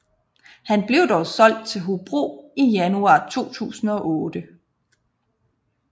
Han blev dog solgt til Hobro i januar 2008